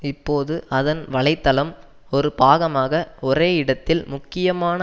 இப்போது அதன் வலை தளம் ஒரு பாகமாக ஒரே இடத்தில் முக்கியமான